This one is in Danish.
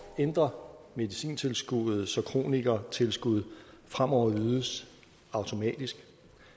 ændre medicintilskuddet så kronikertilskud fremover ydes automatisk